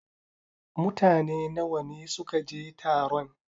Mutane nawa ne suka je taron?